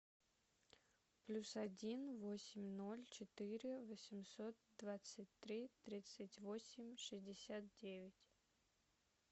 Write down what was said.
плюс один восемь ноль четыре восемьсот двадцать три тридцать восемь шестьдесят девять